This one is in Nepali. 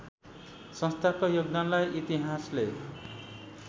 संस्थाको योगदानलाई इतिहासले